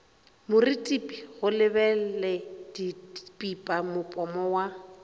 morutipi go lebeledipipa mopomo wa